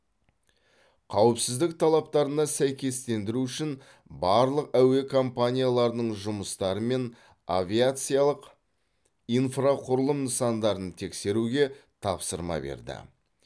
қауіпсіздік талаптарына сәйкестендіру үшін барлық әуе компанияларының жұмыстары мен авиациялық инфрақұрылым нысандарын тексеруге тапсырма берді